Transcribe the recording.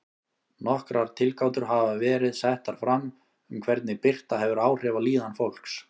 Nokkrar tilgátur hafa verið settar fram um hvernig birta hefur áhrif á líðan fólks.